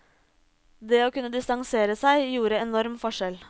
Det å kunne distansere seg gjorde enorm forskjell.